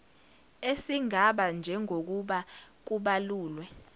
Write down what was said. esingaba njengokuba kubalulwe